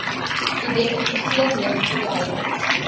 identifiseer negatiewe houdings